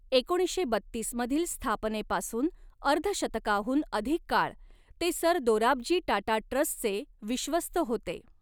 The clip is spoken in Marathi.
एकोणीसशे बत्तीस मधील स्थापनेपासून अर्धशतकाहून अधिक काळ ते सर दोराबजी टाटा ट्रस्टचे विश्वस्त होते.